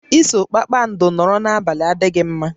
Iso kpakpando nọrọ n'abalị adịghị mma